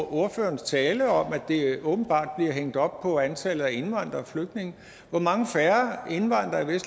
ordførerens tale om at det åbenbart bliver hængt op på antallet af indvandrere og flygtninge hvor mange færre indvandrere